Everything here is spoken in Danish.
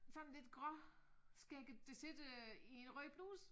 Sådan lidt gråskægget der sidder i en rød bluse